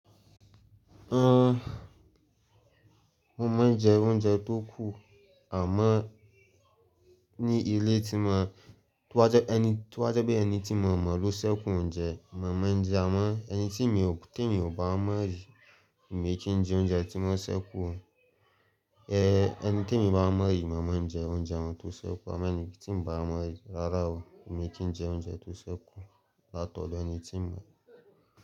Ah! Mo máa ń jẹ oúnjẹ tó kù àmọ́ ní ilé tí mo wà, tí ba jẹ́ pé ẹni tí mo mọ̀ ló ṣẹ́kù oúnjẹ, mo máa ń jẹ́ àmọ́ ẹni tí mi ò bá mọ̀ rí, èmi kì í jẹ oúnjẹ tí wọ́n ṣẹ́kù. Eh! Ẹni tí èmi bá mọ̀ rí, mo máa ń jẹ oúnjẹ ọ̀ún tó ṣẹ́kù, àmọ́ ẹni tí mi ò bá mọ̀ rí, rárá o, èmi kì í jẹ oúnjẹ tó ṣẹ́kù látọ̀dọ̀ ẹni tí mo.